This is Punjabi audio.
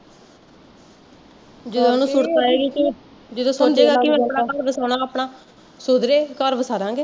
ਸੁਧਰੇ ਅਸੀਂ ਘਰ ਵਸਾਦਾਂਗੇ